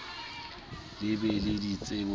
le be le ditsebo le